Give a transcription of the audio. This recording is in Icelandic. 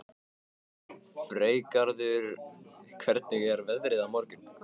Freygarður, hvernig er veðrið á morgun?